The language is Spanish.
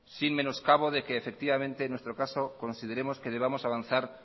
sin menoscabo de que efectivamente en nuestro caso consideremos que debamos avanzar